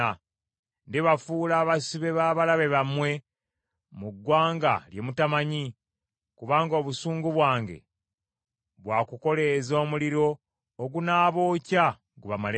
Ndibafuula abasibe b’abalabe bammwe mu ggwanga lye mutamanyi, kubanga obusungu bwange bwakukoleeza omuliro ogunaabookya gubamalewo.”